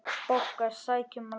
BOGGA: Sækjum Lalla!